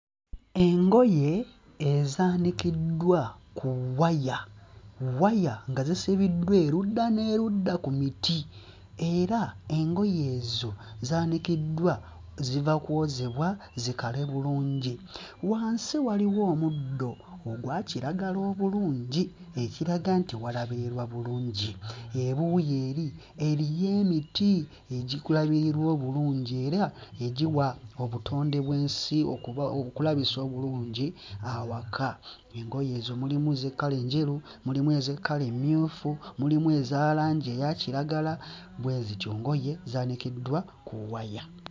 Engoye ezaanikiddwa ku waya, waya nga zisibiddwa erudda n'erudda ku miti era engoye ezo zaanikiddwa ziva kwozebwa zikale bulungi. Wansi waliwo omuddo ogwa kiragala obulungi, ekiraga nti walabirirwa bulungi, ebuuyi eri eriyo emiti egikulabirirwa obulungi era egiwa obutonde bw'ensi okuba okulabisa obulungi awaka. Engoye ezo mulimu ez'ekkala enjeru, mulimu ez'ekkala emmyufu, mulimu eza langi eya kiragala bwe zityo, ngoye zaanikiddwa ku waya.